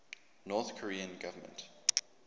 north korean government